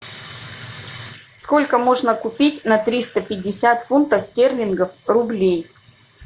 сколько можно купить на триста пятьдесят фунтов стерлингов рублей